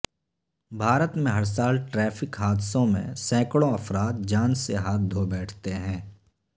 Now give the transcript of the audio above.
بھارت میں ہر سال ٹریفک حادثوں میں سینکڑوں افراد جان سے ہاتھ دھو بیٹھتے ہیں